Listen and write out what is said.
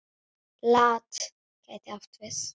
LAT gæti átt við